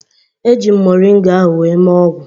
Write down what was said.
Eji m moringa ahụ wee mee ọgwụ